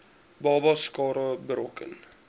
babas skade berokken